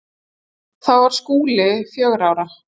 Þá var Skúli fjögurra ára.